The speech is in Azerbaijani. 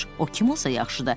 O kim olsa yaxşıdır.